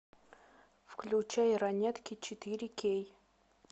включай ранетки четыре кей